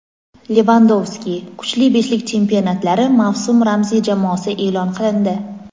Levandovski: Kuchli beshlik chempionatlari mavsum ramziy jamoasi e’lon qilindi.